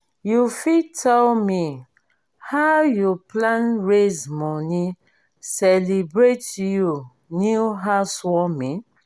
you fit tell me how you plan raise money celebrate you new house warming?